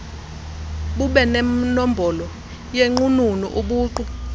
bubenenombolo yenqununu ubuqu